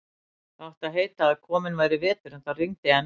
Það átti að heita að kominn væri vetur, en það rigndi enn.